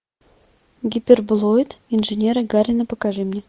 ы